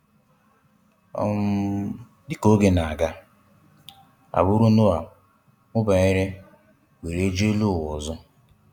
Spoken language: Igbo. um Dịka oge na-aga, agbụrụ Noah mụbanyere were jụ́ elụ ụ́wa ọzọ.